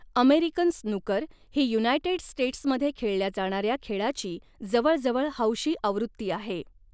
American snooker ही united स्टेट्समध्ये खेळल्या जाणाऱ्या खेळाची जवळजवळ हौशी आवृत्ती आहे.